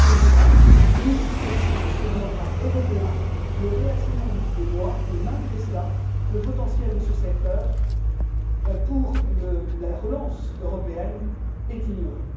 Ce message, nous, socialistes et sociaux démocrates européens, le réassénons depuis des mois et, malgré cela, le potentiel de ce secteur pour la relance européenne est ignoré.